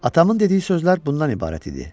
Atamın dediyi sözlər bundan ibarət idi.